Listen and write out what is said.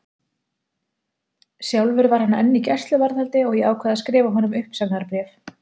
Sjálfur var hann enn í gæsluvarðhaldi og ég ákvað að skrifa honum uppsagnarbréf.